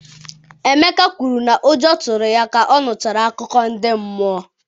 emeka kwuru na ụjọ tụrụ ya ka ọ nụchara akụkọ ndị mmụọ.